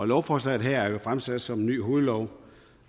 lovforslaget her er jo fremsat som en ny hovedlov